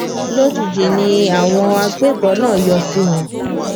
lójijì ni àwọn agbébọn náà yọ sí wọn